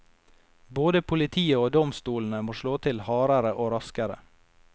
Både politiet og domstolene må slå til hardere og raskere.